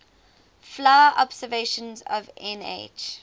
vla observations of nh